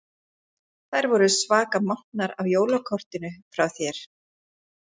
Þær voru svaka montnar af jólakortinu frá þér.